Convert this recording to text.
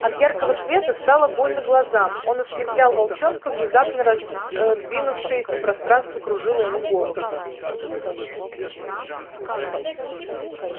от яркого света стало больно глазам он ослеплял волчонка внезапно раздвинувшееся пространство кружило ему голову